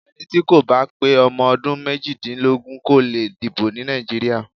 Ẹni tí kò bá pé ọmọ ọdún méjìdínlógún kò le dìbò ní Nàìjíríà.